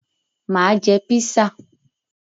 Mà á jẹ písà.